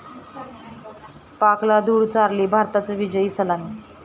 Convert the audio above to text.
पाकला धूळ चारली, भारताची विजयी सलामी